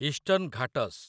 eastern Ghats